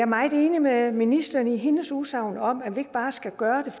meget enig med ministeren i hendes udsagn om at vi ikke bare skal gøre